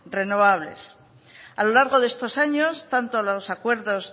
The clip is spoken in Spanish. renovables a lo largo de estos años tanto los acuerdos